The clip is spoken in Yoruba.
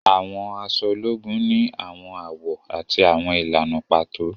Àwọn aṣọ ológùn ni awọn awọ ati awọn ìlànà pàtó